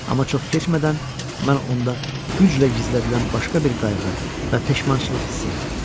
Amma çox keçmədən mən onda güclə gizlədilən başqa bir qayğı və peşmançılıq hiss etdim.